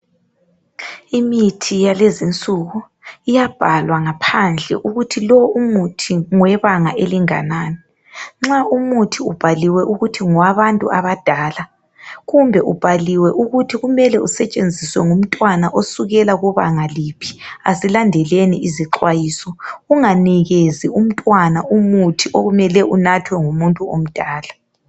Imithi yalezinsuku iyabhalwa ngaphandle ukuthi lo umuthi ngowebanga elinganani. Nxa umuthi ubhaliwe ukuthi ngowabantu abadala kumbe ubhaliwe ukuthi kumele usetshenziswe ngumntwana osukela kubanga liphi, asilandeleni izixwayiso. Unganikezi umntwana umuthi okumele unathwe ngumuntu omdala.